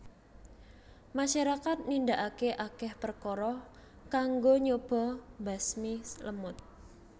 Masyarakat nindakake akeh perkara kanggo nyoba mbasmi lemut